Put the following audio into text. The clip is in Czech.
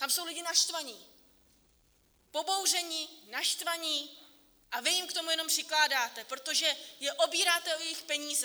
Tam jsou lidi naštvaní, pobouření, naštvaní, a vy jim k tomu jenom přikládáte, protože je obíráte o jejich peníze.